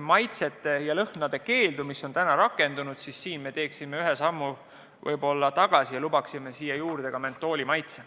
maitsete ja lõhnade keeldu, mis on rakendunud, siis me teeksime ühe sammu tagasi ja lubaksime mentooli maitse.